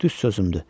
Düz sözümdü.